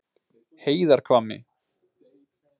Heiðarhvammi